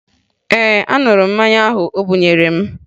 Ee, aṅụrụ m mmanya ahụ o bunyere m